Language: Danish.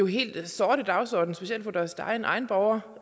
helt sorte dagsorden specielt for deres egne egne borgere